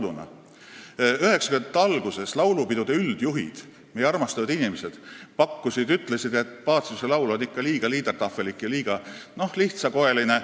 1990-ndate alguses ütlesid laulupidude üldjuhid, meie armastatud inimesed, et Paciuse laul on liiga liedertafel'lik ja liiga, noh, lihtsakoeline.